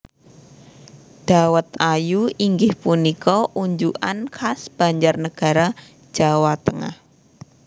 Dawet ayu inggih punika unjukan khas Banjarnagara Jawa Tengah